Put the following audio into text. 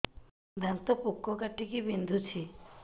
ଦାନ୍ତ ପୋକ କାଟିକି ବିନ୍ଧୁଛି